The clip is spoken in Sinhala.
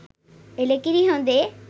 එළකිරි හොදේ.